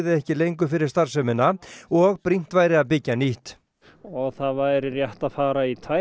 ekki lengur fyrir starfsemina og brýnt væri að byggja nýtt og það væri rétt að fara í tvær